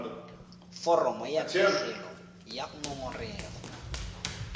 foromo ya pegelo ya ngongorego